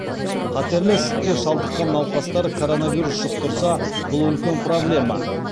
қатерлі ісікке шалдыққан науқастар коронавирус жұқтырса бұл үлкен проблема